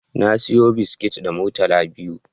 Na saya biskit da murtala biyu